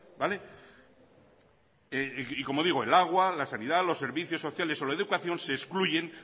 vale y como digo el agua la sanidad los servicios sociales o la educación se excluyen